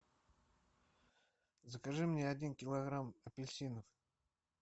закажи мне один килограмм апельсинов